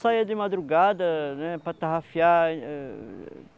Saia de madrugada, né, para tarrafiar.